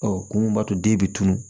Ɔ kun mun b'a to den bɛ tunun